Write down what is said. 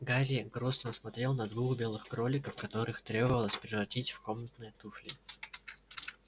гарри грустно смотрел на двух белых кроликов которых требовалось превратить в комнатные туфли